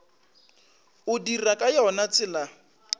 o dira ka yona tsela